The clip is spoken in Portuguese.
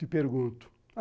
Te pergunto.